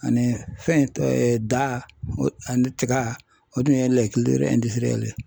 Ani fɛn da ani tiga o tun ye ye